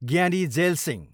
Jiyani Zail Singh